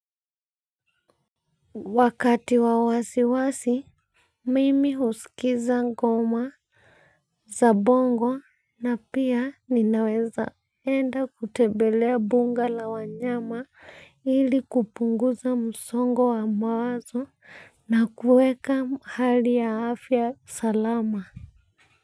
Wakati wa wasiwasi mimi husikiza ngoma za bongo na pia ninaweza enda kutembelea bunga la wanyama ili kupunguza msongo wa mawazo na kuweka hali ya afya salama kwa hivyo.